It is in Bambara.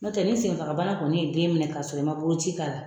N'o tɛ ni senfagabana kɔni ye den minɛ k'a sɔrɔ i ma boloci k'a la